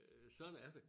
Øh sådan er det